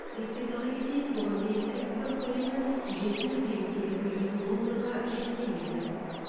еске сала кетейік бұған дейін экспорт көлемі жеті жүз елу сегіз миллион долларға жеткен еді